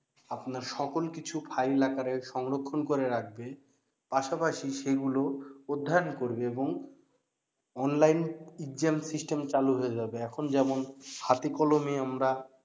আপনার সকল কিছু file আকারে সংরক্ষন করে রাখবে পাশাপাশি সেগুলো অধ্যায়ন করবে এবং অনলাইন exam system চালু হয়ে যাবে এখন যেমন হাতে কলমে আমরা